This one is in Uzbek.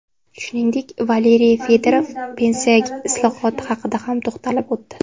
Shuningdek, Valeriy Fedorov pensiya islohoti haqida ham to‘xtalib o‘tdi.